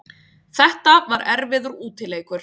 Þetta var erfiður útileikur